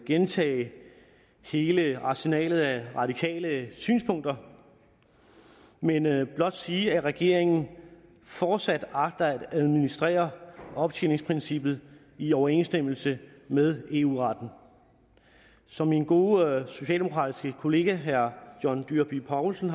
gentage hele arsenalet af radikales synspunkter men vil blot sige at regeringen fortsat agter at administrere optjeningsprincippet i overensstemmelse med eu retten som min gode socialdemokratiske kollega herre john dyrby paulsen